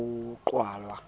ke ha ho qalwa ka